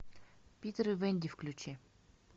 питер и вэнди включи